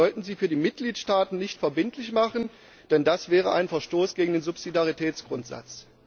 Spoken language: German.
Wir sollten sie für die Mitgliedstaaten nicht verbindlich machen, denn das wäre ein Verstoß gegen den Subsidiaritätsgrundsatz.